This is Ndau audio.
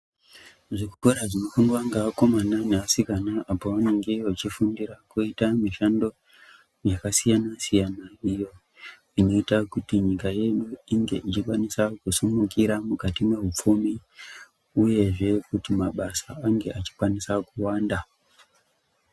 Zvikora zvinofundwa ngeakomana neasikana apo vanenge vachifundira kuti mishando yakasiyana-siyana, iyo inoita kuti nyika yedu inge ichikwanisa kusimukira mukati mehupfumi, uyezve kuti mabasa ange achikwanisa kuwanda.